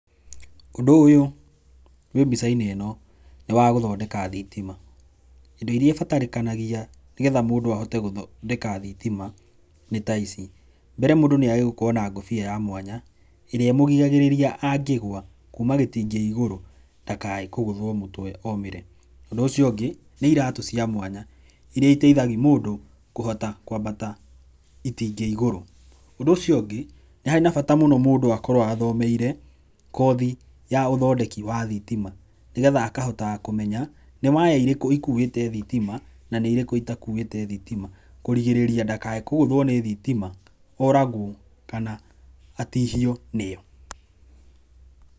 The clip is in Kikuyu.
Ũndũ ũyũ wĩ mbica-inĩ ĩno nĩ wa gũthondeka thitima indo iria ibatarĩkanagia nĩ getha mũndũ ahote gũthondeka thitima nĩ ta ici, mbere mũndũ nĩ agĩrĩirwo gũkorwo na ngũbia ya mwanya ĩrĩa ĩmũgiragĩrĩria angĩgwa kuma gĩtingĩ igũrũ ndakage kũgũthwo mũtwe omĩre. Ũndũ ũcio ũngĩ nĩ iratũ cia mwanya iria iteithagia mũndũ kũhota kwambata itingĩ igũrũ. Ũndũ ũcio ũngĩ nĩ harĩ na bata mũno mũndũ akorwo athomeire kothi ya ũthondeki wa thitima nĩ getha akahotaga kũmenya nĩ waya irĩkũ ikũĩte thitima na nĩ irĩkũ itakuĩte thitima kũrigĩrĩria ndakage kũgũthwo nĩ thitima, oragwo kana atihio nĩo.